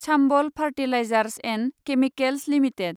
Chambal Fertilisers and Chemicals limited